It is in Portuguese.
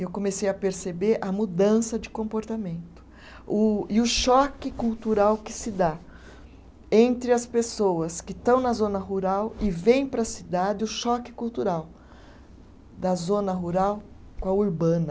Eu comecei a perceber a mudança de comportamento o, e o choque cultural que se dá entre as pessoas que estão na zona rural e vêm para a cidade, o choque cultural da zona rural com a urbana.